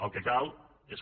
el que cal és que